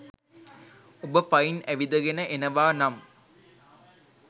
ඔබ පයින් ඇවිදගෙන එනවා නම්